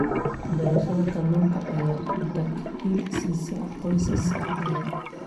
Beerashada kalluunka ayaa dakhli siisa qoysas badan.